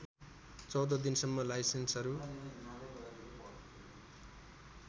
१४ दिनसम्म लाइसेन्सहरू